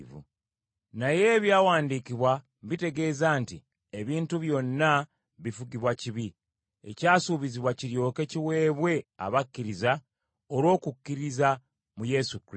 Naye ebyawandiikibwa bitegeeza nti ebintu byonna bifugibwa kibi, ekyasuubizibwa kiryoke kiweebwe abakkiriza olw’okukkiriza mu Yesu Kristo.